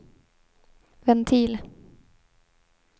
ventil